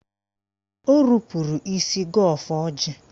O rupuru isi gọọ ọfọ ọjị.